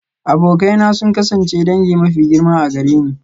Abokai na sun kasance dangi mafi girma a gare ni.